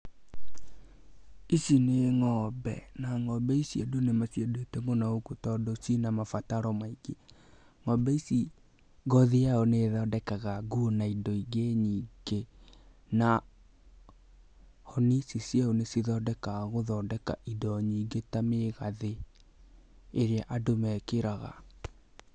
ici nĩ ng'ombe na ng'ombe ici andu nĩmaciendete mũno gũkũ to cina mabataro maingĩ ng'ombe ici ngothi yacio nĩyo ĩthondekaga nguo nyĩngĩ na hĩa icio cĩho nĩcio cithondekaga indo nyingĩ ta mĩgathe ĩrĩa andũ mekĩraga.